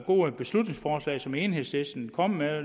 gode beslutningsforslag som enhedslisten kommer med